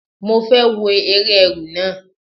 Màá fẹ́ wo eré Ẹ̀rù náà.